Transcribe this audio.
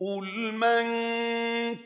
قُلْ مَن